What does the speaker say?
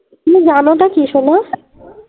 তুমি জানো টা কি সোনা?